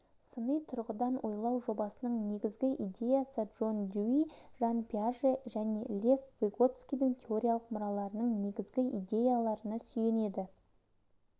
сыни тұрғыдан ойлау жобасының негізгі идеясы джон дьюи жан пиаже және лев выготскийдің теориялық мұраларының негізгі идеяларына сүйенеді